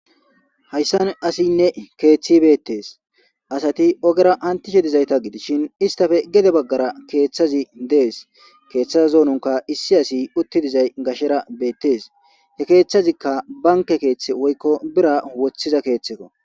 Haysan asiyne kethiyi Bettes asati ogera hantishe dizata gidishin istappe gedde bagara keethasi dese. Keetha zoononka issi asautti dizays gashera beetes. He keethazika banke keethi woyko birra woththiza sookko